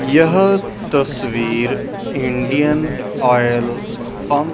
यह तस्वीर Indian Oil pump --